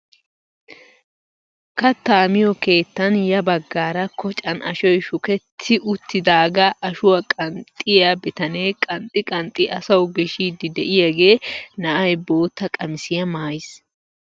Kattaa miyoo kettan ya baggaara kocan ashoy shuketti uttidaagaa ashuwaa qanxxiyaa bitanee qanxxi qanxxi asawu gishiidi de'iyaagee na'ay bootta qamisiyaa maayiis!